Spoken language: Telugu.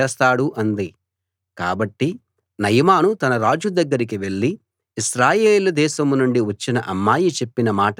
కాబట్టి నయమాను తన రాజు దగ్గరికి వెళ్ళి ఇశ్రాయేలు దేశం నుండి వచ్చిన అమ్మాయి చెప్పిన మాటను వివరించాడు